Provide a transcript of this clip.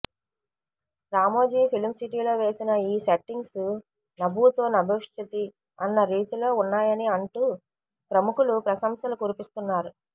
Ramoji film సిటీలో వేసిన ఈ సెట్టింగ్స్ నభూతో నభవిష్యతి అన్న రీతిలో ఉన్నాయని అంటూ ప్రముఖులు ప్రశంసలు కురిపిస్తున్నారు